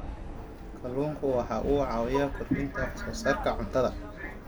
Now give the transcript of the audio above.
Kalluunku waxa uu caawiyaa kordhinta wax soo saarka cuntada.